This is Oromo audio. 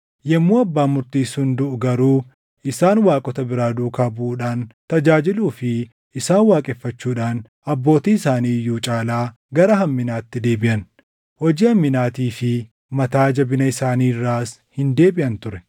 Yommuu abbaan murtii sun duʼu garuu isaan waaqota biraa duukaa buʼuudhaan, tajaajiluu fi isaan waaqeffachuudhaan abbootii isaanii iyyuu caalaa gara hamminaatti deebiʼan. Hojii hamminaatii fi mataa jabina isaanii irraas hin deebiʼan ture.